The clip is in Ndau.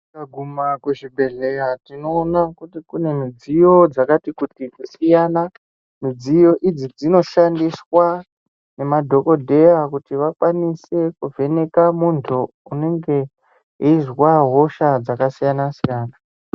Tikaguma kuzvibhedhleya tinoona kuti kune midziyo dzakati kuti kusiyana. Midziyo idzi dzinoshandiswa nemadhokodheya kuti vakwanise kuvheneka muntu unenge eizwa hosha dzakasiyana-siyana.